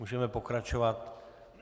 Můžeme pokračovat.